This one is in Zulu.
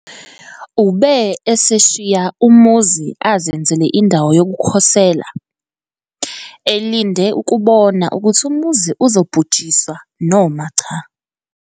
Ube eseshiya umuzi azenzele indawo yokukhosela, elinde ukubona ukuthi umuzi uzobhujiswa noma cha.